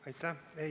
Aitäh!